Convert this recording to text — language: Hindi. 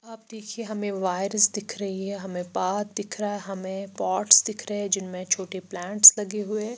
आप देखिए हमें वायर्स दिख रही है हमें पाथ दिख रहा है हमें पॉट्स दिख रहे हैं जिनमें छोटे प्लांट्स लगे हुए--